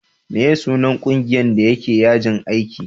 meye sunan ƙungiyan da ya je yajin aiki?